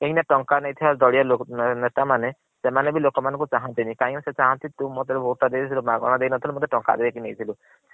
କାହିଁକି ନା ଟଙ୍କା ନେଇଥିବା ଦଲିଅ ନେତା ମାନେ ସେମାନେ ବି ଲୋକ ମାନଙ୍କୁ ଚାହାନତିନୀ କାରଣ ତୁ ମତେ ଯୋଉ vote ଟା ଦେଇଥିଲୁ ମାଗଣା ଦେଇନଥିଲୁ ଟଙ୍କା ନେଇକି ଦେଇ ଥିଲୁ।